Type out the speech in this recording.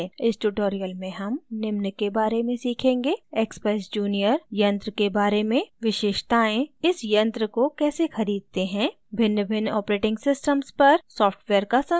इस tutorial में हम निम्न के बारे में सीखेंगे: